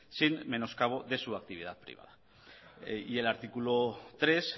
sin menoscabo de su actividad y el artículo tres